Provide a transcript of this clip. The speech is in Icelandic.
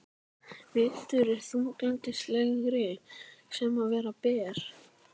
Vetur er þunglyndislegri sem og vera ber.